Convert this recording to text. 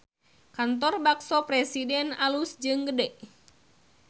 Kantor Bakso Presiden alus jeung gede